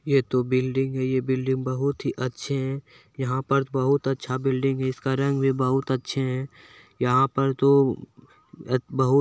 ये तो बिल्डिंग है ये बिल्डिंग बहुत अच्छी है यहा पे बहुत अच्छा बिल्डिंग इस का रंग बहुत अच्छे है यहाँ पर तो बहुत--